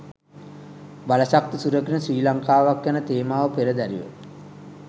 බලශක්ති සුරකින ශ්‍රී ලංකාවක් යන තේමාව පෙරදැරිව.